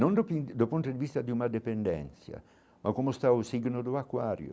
Não do do ponto de vista de uma dependência, mas como está o signo do aquário.